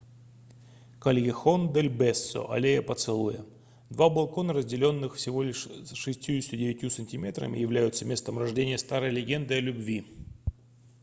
кальехон-дель-бесо аллея поцелуя. два балкона разделённых всего лишь 69 сантиметрами являются местом рождения старой легенды о любви